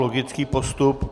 Logický postup.